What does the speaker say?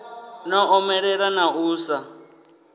no omelela na u sa